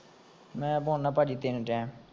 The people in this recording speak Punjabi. ਮੈਂ ਪਾਉਣਾ ਭਾਜੀ ਤਿੰਨ time